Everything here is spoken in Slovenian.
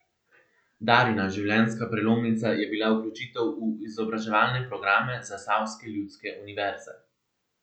Darjina življenjska prelomnica je bila vključitev v izobraževalne programe Zasavske ljudske univerze.